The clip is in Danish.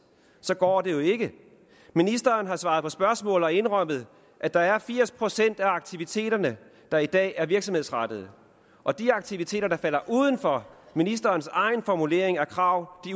går det jo ikke ministeren har svaret på spørgsmål og indrømmet at der er firs procent af aktiviteterne der i dag er virksomhedsrettede og de aktiviteter der falder uden for ministerens egen formulering og krav